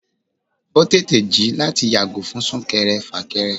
o tèté jí láti yàgò fún súnkèré-fákérè